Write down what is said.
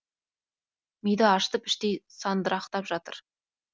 миды ашытып іштей сандырақтап жатыр